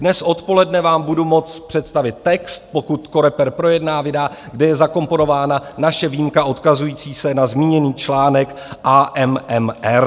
Dnes odpoledne vám budu moct představit text, pokud COREPER projedná, vydá, kde je zakomponována naše výjimka odkazující se na zmíněný článek AMMR.